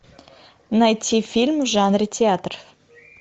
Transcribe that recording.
найти фильм в жанре театр